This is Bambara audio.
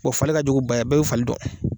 Bɔn fali ka jugu ba ye, bɛɛ bɛ fali dɔn.